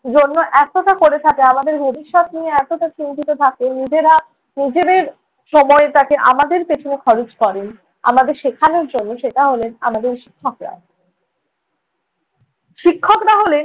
জন্য এতটা করে থাকে, আমাদের ভবিষ্যত নিয়ে এতোটা চিন্তিত থাকে। নিজেরা নিজেদের সময়টাকে আমাদের পেছনে খরচ করেন, আমাদের শেখানোর জন্য সেটা হলেন আমাদের শিক্ষকরা। শিক্ষকরা হলেন